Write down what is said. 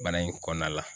Bana in kɔnɔna la